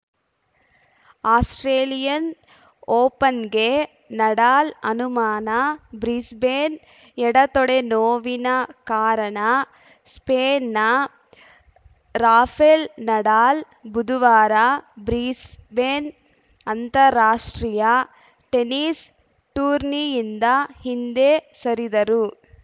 Australian ಓಪನ್‌ಗೆ Nadal ಅನುಮಾನ Brisbane ಎಡ ತೊಡೆ ನೋವಿನ ಕಾರಣ ಸ್ಪೇನ್‌ನ ರಾಫೆಲ್‌ ನಡಾಲ್‌ ಬುಧವಾರ ಬ್ರಿಸ್ಬೇನ್‌ ಅಂತಾರಾಷ್ಟ್ರೀಯ ಟೆನಿಸ್‌ ಟೂರ್ನಿಯಿಂದ ಹಿಂದೆ ಸರಿದರು